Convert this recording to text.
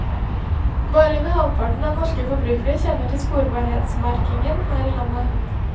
Bare under halvparten av norske forbrukere kjenner til sporbarhetsmerkingen her i landet.